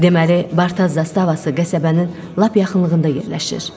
Deməli, Barta zastavası qəsəbənin lap yaxınlığında yerləşir.